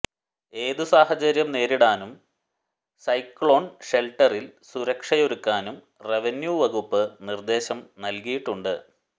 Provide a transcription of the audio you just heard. ഏത് സാഹചര്യം നേരിടാനും സൈക്ളോൺ ഷെൽട്ടറിൽ സുരക്ഷയൊരുക്കാനും റവന്യൂ വകുപ്പ് നിർദേശം നൽകിയിട്ടുണ്ട്